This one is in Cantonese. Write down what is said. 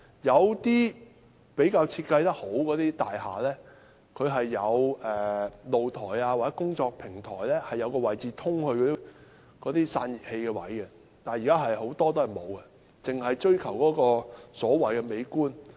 有些設計比較好的大廈，其單位的露台或工作平台上會有通道通往那些散熱器的位置，但現在很多大廈也沒有，只是追求所謂美觀。